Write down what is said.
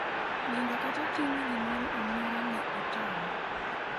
"Nindo kata timi gimoro amora ne otama.